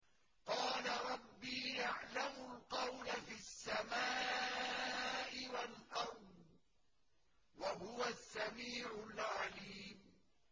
قَالَ رَبِّي يَعْلَمُ الْقَوْلَ فِي السَّمَاءِ وَالْأَرْضِ ۖ وَهُوَ السَّمِيعُ الْعَلِيمُ